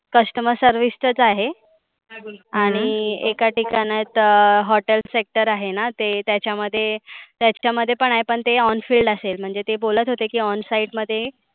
Customer service च आहे. आणि एका ठिकाणात अं Hotel sector आहे ना. ते त्याच्या मध्ये, त्याच्या मध्ये पण आहे पण ते on field असेल. म्हणजे ते बोलत होते की on side मध्ये